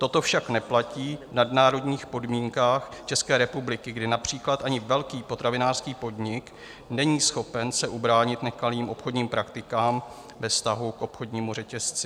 Toto však neplatí v nadnárodních podmínkách České republiky, kdy například ani velký potravinářský podnik není schopen se ubránit nekalým obchodním praktikám ve vztahu k obchodnímu řetězci.